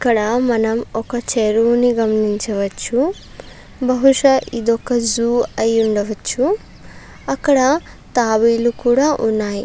ఇక్కడ మనం ఒక చెరువుని గమనించవచ్చు బహుశా ఇదొక జూ అయ్యుండవచ్చు అక్కడ తాబేలు కూడా ఉన్నాయి.